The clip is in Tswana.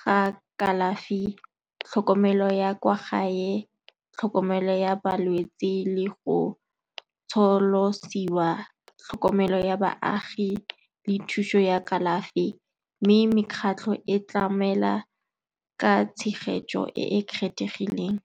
ga kalafi, tlhokomelo ya kwa gae, tlhokomelo ya balwetse le go tsholosiwa tlhokomelo ya baagi le thuso ya kalafi. Mme mekgatlho e tlamela ka tshegetso e e kgethegileng.